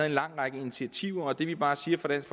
en lang række initiativer det vi bare siger fra dansk